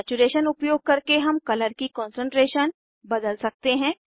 saturation उपयोग करके हम कलर की कान्सन्ट्रेशन बदल सकते हैं